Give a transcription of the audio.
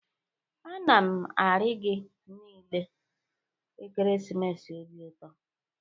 A na m arị gị niile ekeresimesi obi ụtọ.